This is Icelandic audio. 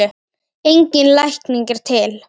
Engin lækning er til.